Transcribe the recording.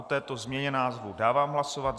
O této změně názvu dávám hlasovat.